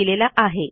यांनी दिलेला आहे